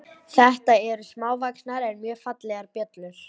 Þetta eru smávaxnar en mjög fallegar bjöllur.